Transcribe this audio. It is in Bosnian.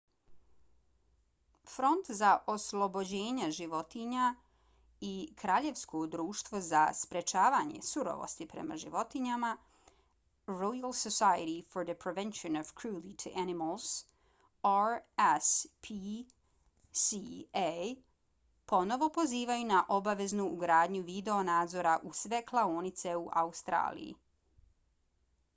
front za oslobođenja životinja i kraljevsko društvo za sprečavanje surovosti prema životinjama royal society for the prevention of cruelty to animals rspca ponovo pozivaju na obaveznu ugradnju video nadzora u sve klaonice u australiji